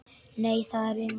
Nei, það erum við.